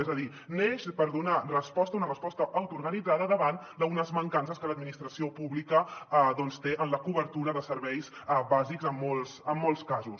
és a dir neix per donar resposta una resposta autoorganitzada davant d’unes mancances que l’administració pública doncs té en la cobertura de serveis bàsics en molts casos